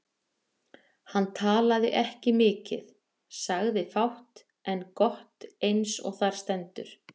Hann talaði ekki mikið, sagði fátt en gott eins og þar stendur.